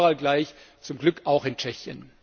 Er gilt überall gleich, zum Glück auch in Tschechien!